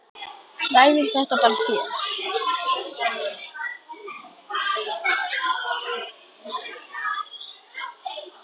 Við ræðum þetta bara síðar.